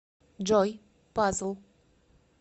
джой пазл